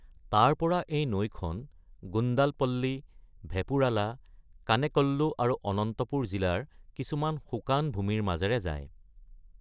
তাৰ পৰা এই নৈখন গুণ্ডালপল্লী, ভেপুৰালা, কানেকল্লু আৰু অনন্তপুৰ জিলাৰ কিছুমান শুকান ভূমিৰ মাজেৰে যায়।